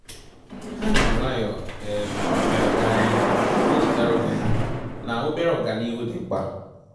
Ha ji nwayọ um nwayọ gaa n'ihu, na echetara onwe ha na obere ọganihu dị mkpa